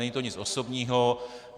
Není to nic osobního.